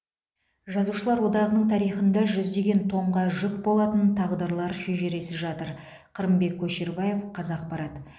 жазушылар одағының тарихында жүздеген томға жүк болатын тағдырлар шежіресі жатыр қырымбек көшербаев қазақпарат